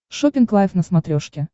шоппинг лайв на смотрешке